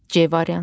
C variantı.